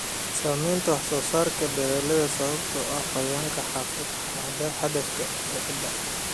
Saamaynta wax-soo-saarka dalagga sababtoo ah qoyaanka xad-dhaafka ah ee ciidda.